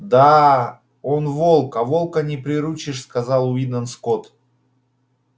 да а он волк а волка не приручишь сказал уидон скотт